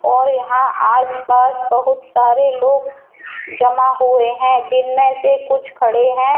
और यहां आस पास बहुत सारे लोग जमा हो रहे है जिनमें से कुछ खड़े हैं।